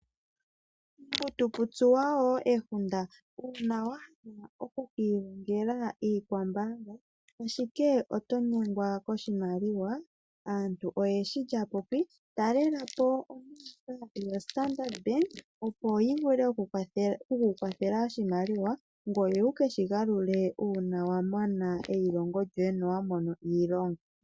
Pomuntu putsuwa woo ehunda uuna wahala oku kilongela Iikwamboga ashike otonyengwa koshimaliwa, aantu oyeshi lyapopi. Talelapo ombaanga yo Standard opo yivule oku kukwathela oshimaliwa ngoye wu keshi galule uuna wamana eyilongo lyoye no wamona iilonga.